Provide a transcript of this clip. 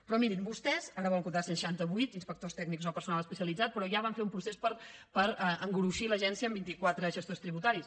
però mirin vostès ara volen contractar cent seixantavuit inspectors tècnics o personal especialitzat però ja van fer un procés per engruixir l’agència amb vint iquatre gestors tributaris